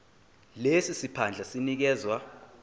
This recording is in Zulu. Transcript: lesi siphandla sinikezwa